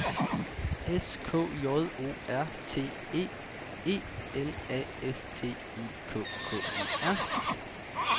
S K J O R T E E L A S T I K K E R